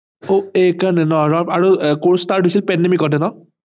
অ এই কাৰনে ন আৰু course start হৈছিল pandemic তে ন